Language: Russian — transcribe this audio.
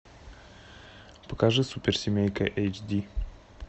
покажи суперсемейка эйч ди